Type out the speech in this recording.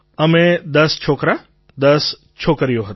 અમે ૧૦ છોકરા ૧૦ છોકરીઓ હતાં